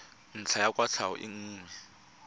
ntlha ya kwatlhao e nngwe